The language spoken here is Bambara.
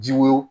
Ji wo